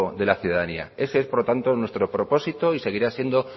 de la ciudadanía ese es por tanto nuestro propósito y seguirá siendo